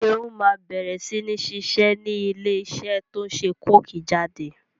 Seun má bẹ̀rẹ̀ sini ṣiṣẹ́ ni ilé iṣẹ́ to ń ṣe coke jáde